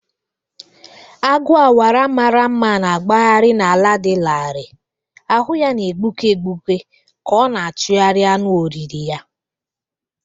Agu awara mara mma na-agbagharị n’ala dị larịị, ahụ ya na-egbuke egbuke ka ọ na-achụgharị anụ oriri ya.